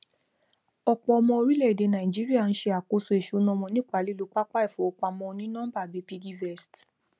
ọpọ ọmọ orílèèdè nàìjíríà ń ṣe àkóso ìṣúná wọn nípa lílo pápá ìfowópamọ onínọmbà bíi piggyvest